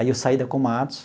Aí eu saí da Komatsu.